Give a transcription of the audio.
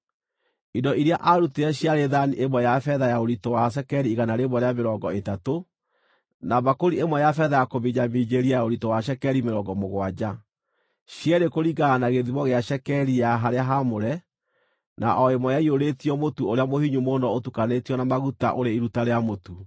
Indo iria aarutire ciarĩ thaani ĩmwe ya betha ya ũritũ wa cekeri igana rĩmwe rĩa mĩrongo ĩtatũ, na mbakũri ĩmwe ya betha ya kũminjaminjĩria ya ũritũ wa cekeri mĩrongo mũgwanja, cierĩ kũringana na gĩthimo gĩa cekeri ya harĩa haamũre, na o ĩmwe yaiyũrĩtio mũtu ũrĩa mũhinyu mũno ũtukanĩtio na maguta, ũrĩ iruta rĩa mũtu;